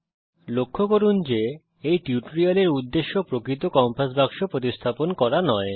দয়া করে লক্ষ্য করুন যে এই টিউটোরিয়ালের উদ্দেশ্য প্রকৃত কম্পাস বাক্স প্রতিস্থাপন করা নয়